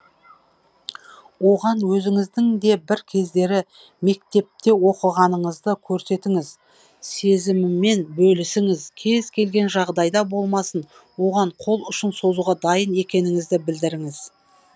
оған өзіңіздің де бір кездері мектепте оқығаныңызды көрсетіңіз сезімімен бөлісіңіз кез келген жағдайда болмасын оған қол ұшын созуға дайын екеніңізді білдіріңіз